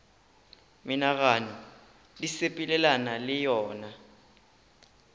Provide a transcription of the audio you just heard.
menagano di sepelelana le yona